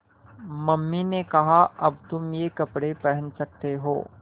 mummy ने कहा अब तुम ये कपड़े पहन सकते हो